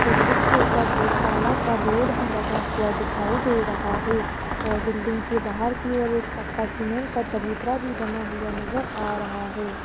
Building के ऊपर एक काला सा बोर्ड भी लगा हुआ दिखाई दे रहा है और बिल्डिंग के बाहर की ओर एक पक्का सीमेंट का चबूतरा भी बना हुआ नजर आ रहा है।